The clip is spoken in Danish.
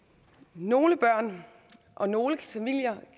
nogle børn og nogle familier